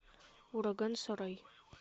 ураган сарай